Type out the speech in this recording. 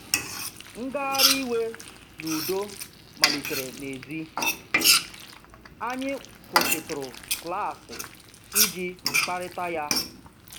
Ngagharị iwe n’udo malitere n’èzí, anyị kwụsịtụrụ klaasị iji kparịta ya.